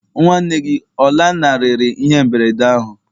Nwa nwanne gị ọ lanarịrị ihe mberede ahụ?